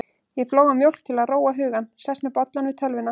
Ég flóa mjólk til að róa hugann, sest með bollann við tölvuna.